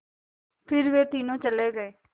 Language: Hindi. फिर वे तीनों चले गए